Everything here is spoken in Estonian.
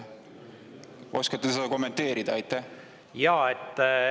Oskate seda kommenteerida?